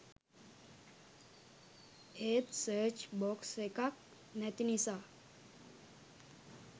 ඒත් search box එකක් නැති නිසා